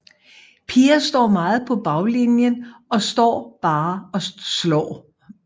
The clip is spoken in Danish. Piger står meget på baglinjen og står bare og slår